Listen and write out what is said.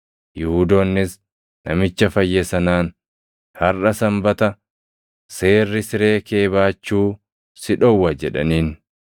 Yihuudoonnis namicha fayye sanaan, “Harʼa Sanbata; seerri siree kee baachuu si dhowwa” jedhaniin.